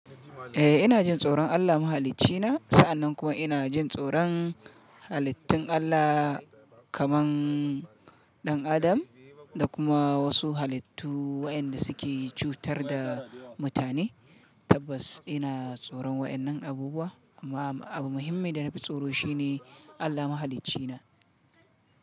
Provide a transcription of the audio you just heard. Eh ina jin tsoron Allah mahalincina, sa'annan kuma ina jin tsoron halittun Allah kaman ɗan adam da kuma wasu halittu waɗanda suke cutar da mutane. Tabbas ina tsoron waɗannan abubuwa amma abu muhimmin da na fi tsoro shi ne Allah mahalincina.